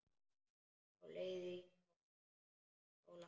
Á leið í skóla.